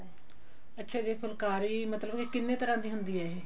ਅੱਛਾ ਜੀ ਫੁਲਕਾਰੀ ਮਤਲਬ ਕਿ ਕਿੰਨੇ ਤਰਾਂ ਦੀ ਹੁੰਦੀ ਹੈ ਇਹ